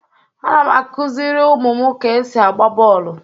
Ana m akuzịrị ụmụ m ka esi agba bọọlụ.